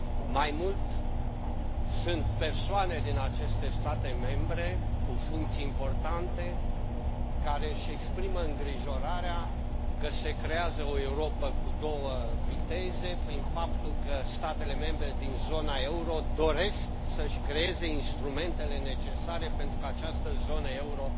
Mai mult, sunt persoane din aceste state membre, cu funcții importante, care își exprimă îngrijorarea că se creează o Europă cu două viteze prin faptul că statele membre din zona euro doresc să și creeze instrumentele necesare pentru ca această zonă euro